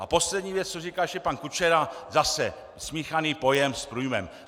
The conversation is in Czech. A poslední věc, co říkal ještě pan Kučera, zase smíchaný pojem s průjmem.